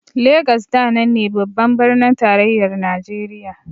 Legas da nan ne babban birnin tarayyar Najeriya.